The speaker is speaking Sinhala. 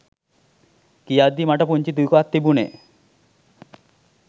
කියද්දි මට පුංචි දුකක් තිබුණෙ